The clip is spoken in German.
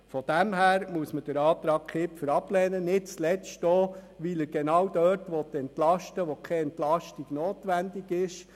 In diesem Sinn ist der Antrag Kipfer abzulehnen, nicht zuletzt deshalb, weil er dort entlasten will, wo keine Entlastung notwendig ist.